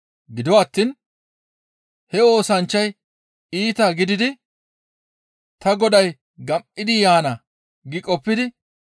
Gido attiin he oosanchchay iita gididi, ‹Ta goday gam7idi yaana› gi qoppidi,